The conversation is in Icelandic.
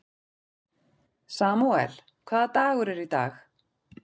Samúel, hvaða dagur er í dag?